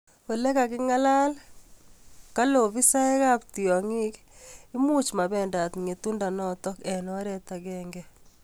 Ole kagingalga kale afisaek ap tiongoik kole imuchi mabendat ngetundo notok eng oret agenge